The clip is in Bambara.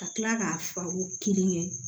Ka kila k'a fura kelen kɛ